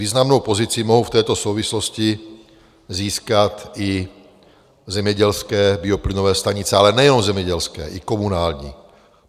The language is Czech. Významnou pozici mohou v této souvislosti získat i zemědělské bioplynové stanice, ale nejenom zemědělské, i komunální.